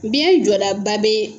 Biyɛn jɔda ba bɛ